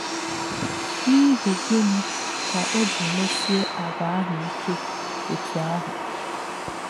N’íhì̄ gị̄ní̄ kā̄ ó̄ jí̄ mèsị̀è̄ àgwà̄ āhū̄ íkè̄ ọ̀tú̄ āhū̄?